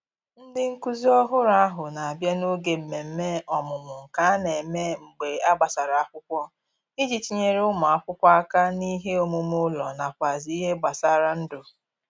Ndị nkụzi ọhụrụ ahụ na abịa n'oge mmemme ọmụmụ nke a na - eme mgbe a gbasara akwụkwọ iji tinyere ụmụ akwụkwọ aka n'ihe omume ụlọ nakwazi n'ihe gbasara ndụ